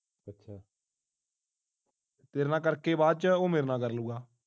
ਤੇਰੇ ਨਾਲ ਕਰਕੇ ਬਾਅਦ ਵਿੱਚ ਮੇਰੇ ਨਾਲ ਕਰ ਲਊਂਗਾ